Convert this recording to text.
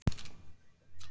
Jónína Sif.